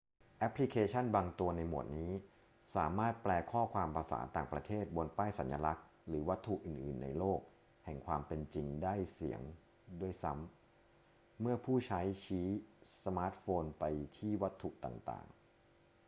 แอปพลิเคชั่นบางตัวในหมวดนี้สามารถแปลข้อความภาษาต่างประเทศบนป้ายสัญลักษณ์หรือวัตถุอื่น ๆ ในโลกแห่งความเป็นจริงได้เสียด้วยซ้ำ เมื่อผู้ใช้ชี้สมาร์ทโฟนไปที่วัตถุต่าง ๆ